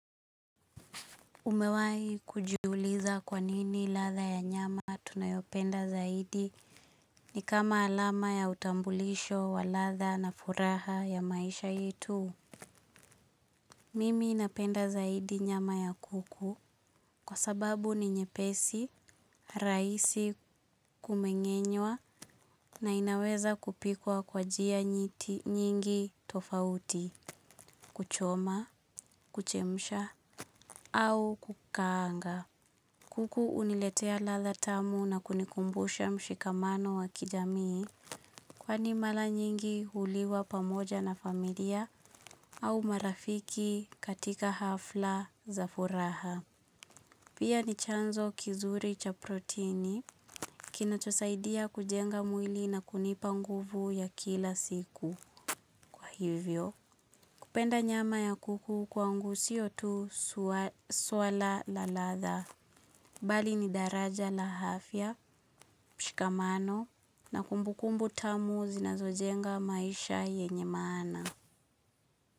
Umewai kujuliza kwanini latha ya nyama tunayopenda zaidi ni kama alama ya utambulisho wa latha na furaha ya maisha yetu. Mimi napenda zaidi nyama ya kuku kwa sababu ni nyepesi, raisi kumengenywa na inaweza kupikwa kwa njia mingi tofauti kuchoma, kuchemsha au kukaanga. Kuku uniletea latha tamu na kunikumbusha mshikamano wa kijamii kwa ni mala nyingi huliwa pamoja na familia au marafiki katika hafla za furaha. Pia ni chanzo kizuri cha proteini kina chosaidia kujenga mwili na kunipa nguvu ya kila siku. Kupenda nyama ya kuku kwangusio tu swala la latha bali ni daraja la afya, mshikamano na kumbukumbu tamu zinazojenga maisha yenye maana.